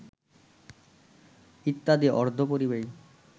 ইত্যাদি অর্ধপরিবাহী